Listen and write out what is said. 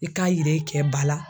I k'a yira i kɛ ba la.